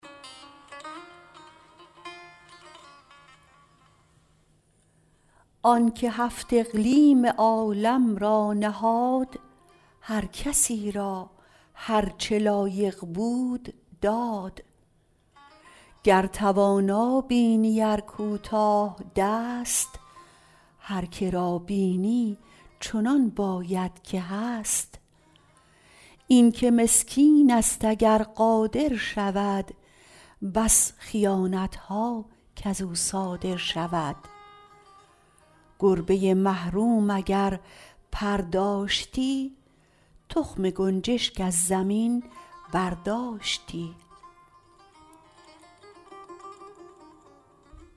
آنکه هفت اقلیم عالم را نهاد هر کسی را هر چه لایق بود داد گر توانا بینی ار کوتاه دست هر که را بینی چنان باید که هست این که مسکین است اگر قادر شود بس خیانت ها کزو صادر شود گربه محروم اگر پر داشتی تخم گنجشک از زمین برداشتی